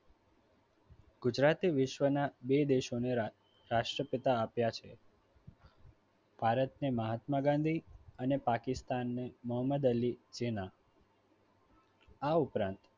ગુજરાતે વિશ્વના બે દેશો ને રાષ્ટ્રપિતા આપ્યા છે. ભારત ને મહાત્મા ગાંધી અને પાકિસ્તાનને મોહમ્મદ અલી જીના આ ઉપરાંત